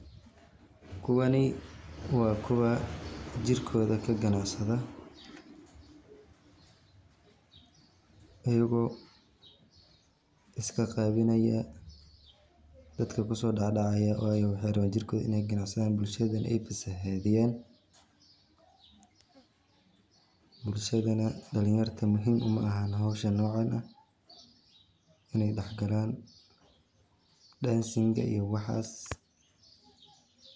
Kuwani waa kuwa jirkooda kaganacsada ayago iska qaawinaya dadka kuso dhadhacaya waxay raban jirkoda kaganacsadan bulshada aya fasahaadiyan, bulshadana dhalin yarta muhiim uma aha howsha nocan ah inay dhax galaan dhansinga iyo waxaas